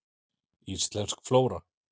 Íslensk flóra.